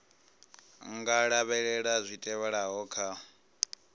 nga lavhelela zwi tevhelaho kha